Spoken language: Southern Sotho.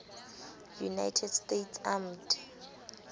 united states armed